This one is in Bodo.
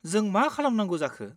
जों मा खालामनांगौ जाखो?